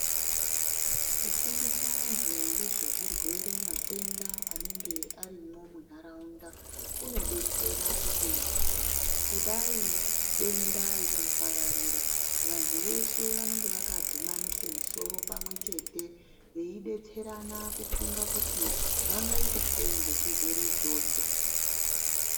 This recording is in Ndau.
Kufundisa anthu ngezvezvirwere, matenda anenge arimwo muntharaunda, kunodetsera kuti, kudai denda rikapararira, vanthu veshe vanenge vakadhumanisa musoro pamwechete, veidetserana kufunga kuti vangaita sei ngechirwere ichocho?